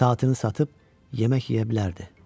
Saatını satıb yemək yeyə bilərdi.